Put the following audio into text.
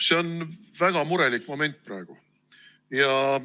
See on väga murelik moment praegu.